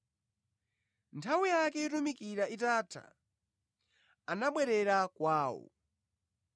Nthawi yake yotumikira itatha, anabwerera kwawo.